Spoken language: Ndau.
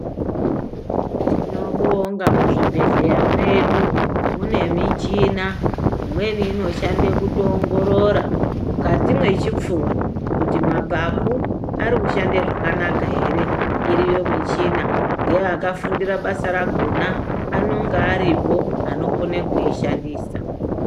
Tinobonga muzvibhedhleya medu mune michina imweni inofande kutongoongorora mukati mechipfuva kuti mapapu ari kushande zvakanaka ere. Iriyo michina ngeakafundira basa rakona anenga aripo anokona kuishandisa.